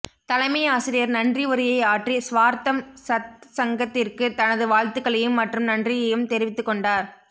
தலைமை ஆசிரியர் நன்றி உரையை ஆற்றி ஸ்வார்த்தம் சத் சங்கத்திற்கு தனது வாழ்த்துக்களையும் மற்றும் நன்றியையும் தெரிவித்துக் கொண்டார்